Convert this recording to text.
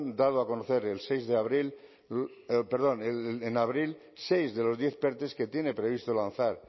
dado a conocer en abril seis de los diez perte que tiene previsto lanzar